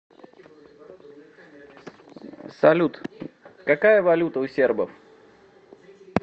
салют какая валюта у сербов